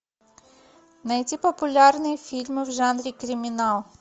найти популярные фильмы в жанре криминал